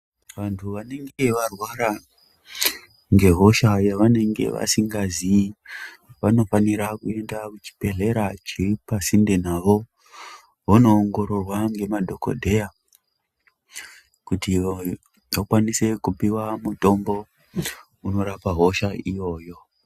Vantu vanenge varwara ngehosha yavanenge yavasingaziyi vanofanira kuenda kuchibhedhlera chiri pasinde navo vondoongororwa ngemadhokodheya kuti vakwanise kupiwa mutombo unorapa hosha iyoyo.